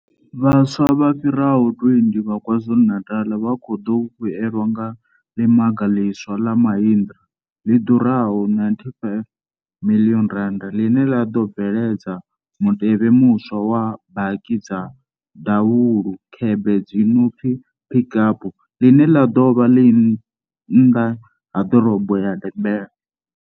Vhaswa vha fhira ho 20 vha KwaZulu-Natal vha khou ḓo vhuelwa nga ḽimaga ḽiswa ḽa Mahindra ḽi ḓura ho R95 miḽioni ḽine ḽa ḓo bveledza mutevhe muswa wa baki dza davhulu khebe dzi no pfi Pik Up ḽine ḽa ḓo vha ḽi nnḓa ha ḓorobo ya Durban.